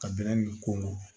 Ka bɛrɛbɛn nin ko